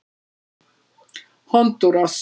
Hondúras